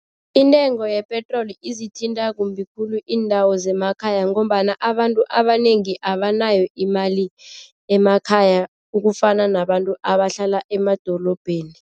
Intengo yepetroli ezithinta kumbi khulu iindawo zemakhaya ngombana abantu abanengi abanayo imali emakhaya ukufana nabantu abahlala emadorobheni.